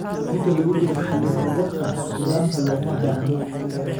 Inta lagu jiro xilli-roobaadka, nidaamka looma baahna.